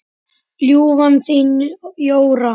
Ljúfan þín, Jóra.